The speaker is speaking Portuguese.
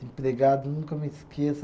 Desempregado, nunca me esqueço.